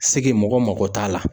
mɔgɔ mago t'a la